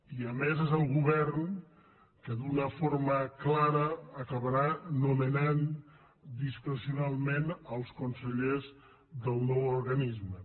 i a més és el govern el que d’una forma clara acabarà nomenant discrecionalment els consellers del nou organisme